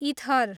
ether